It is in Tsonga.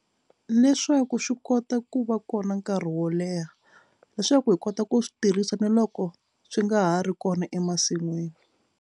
Leswaku swi kota ku va kona nkarhi wo leha leswaku hi kota ku swi tirhisa na loko swi nga ha ri kona emasin'wini.